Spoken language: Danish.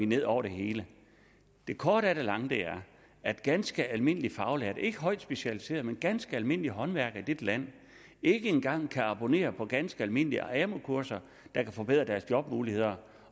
ned over det hele det korte af det lange er at ganske almindelige faglærte ikke højt specialiserede men ganske almindelige håndværkere i dette land ikke engang kan abonnere på ganske almindelige amu kurser der kan forbedre deres jobmuligheder